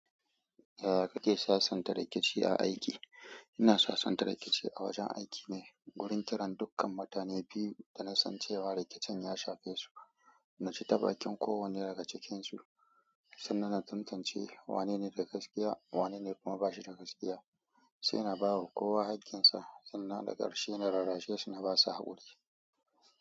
Yaya kake sasanta rikici a aiki? Ina sasanta rikici a wajen aiki ne wurin kiran dukkan mutane biyu da na san cewa rikicin ya shafe su. Na ci ta bakin kowanne daga cikinsu sannan na tantance wanene da gaskiya wanene kuma bashi da gaskiya. Sai na ba wa kowa haƙƙinsa sannan da ƙarshe na rarrashe su na ba su haƙuri.